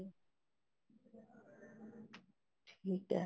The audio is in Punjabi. ਠੀਕ ਹੈ